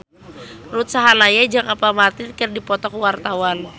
Ruth Sahanaya jeung Apple Martin keur dipoto ku wartawan